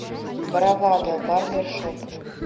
бравада барбершоп